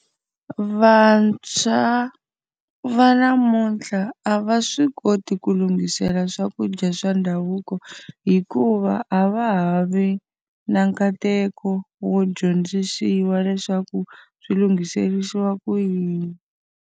Vantshwa va namuntlha a va swi koti ku lunghisela swakudya swa ndhavuko, hikuva a va ha vi na nkateko wo dyondzisiwa leswaku swi lunghiserisiwa ku yini.